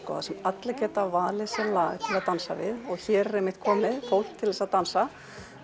allir geta valið sér lag til að dansa við og hér er einmitt komið fólk til að dansa